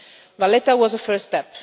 Valletta was a first